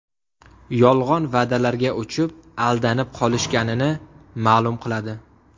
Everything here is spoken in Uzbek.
Yolg‘on va’dalarga uchib, aldanib qolishganini ma’lum qiladi.